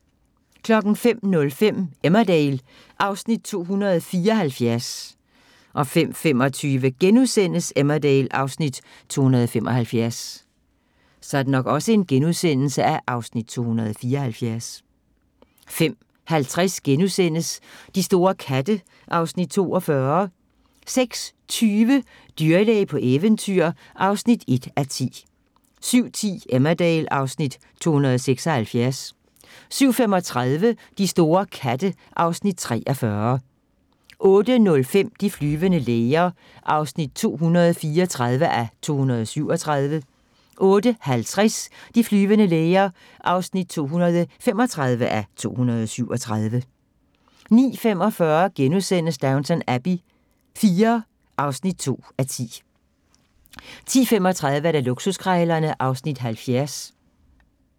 05:05: Emmerdale (Afs. 274) 05:25: Emmerdale (Afs. 275)* 05:50: De store katte (Afs. 42)* 06:20: Dyrlæge på eventyr (1:10) 07:10: Emmerdale (Afs. 276) 07:35: De store katte (Afs. 43) 08:05: De flyvende læger (234:237) 08:50: De flyvende læger (235:237) 09:45: Downton Abbey IV (2:10)* 10:35: Luksuskrejlerne (Afs. 70)